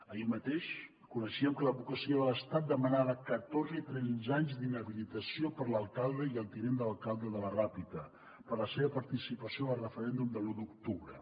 ahir mateix coneixíem que l’advocacia de l’estat demanava catorze i tretze anys d’inhabilitació per a l’alcalde i el tinent d’alcalde de la ràpita per la seva participació en el referèndum de l’u d’octubre